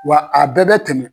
Wa a bɛɛ bɛ tɛmɛn.